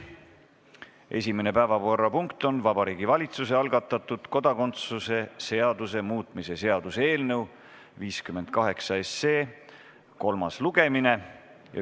Esimene päevakorrapunkt on Vabariigi Valitsuse algatatud kodakondsuse seaduse muutmise seaduse eelnõu 58 kolmas lugemine.